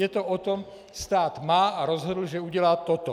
Je to o tom - stát má a rozhodl, že udělá toto.